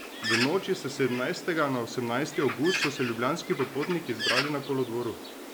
V noči s sedemnajstega na osemnajsti avgust so se ljubljanski popotniki zbrali na kolodvoru.